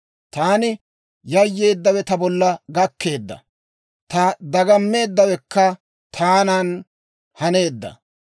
Taani yayyeeddawe ta bolla gakkeedda; taani dagammeeddawekka taanan haneedda.